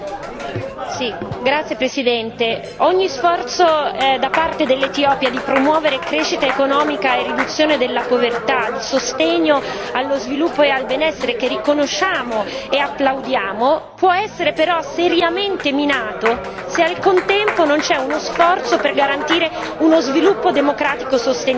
Signor Presidente, onorevoli colleghi, ogni sforzo da parte dell'Etiopia di promuovere crescita economica e riduzione della povertà, di sostegno allo sviluppo e al benessere che riconosciamo e applaudiamo può essere però seriamente minato se, al contempo, non c'è uno sforzo per garantire uno sviluppo democratico sostenibile.